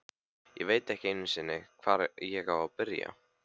Ég veit ekki einu sinni, hvar ég á að byrja.